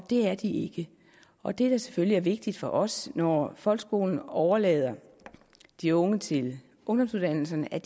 det er de ikke og det der selvfølgelig er vigtigt for os når folkeskolen overlader de unge til ungdomsuddannelserne er